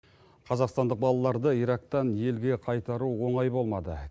қазақстандық балаларды ирактан елге қайтару оңай болмады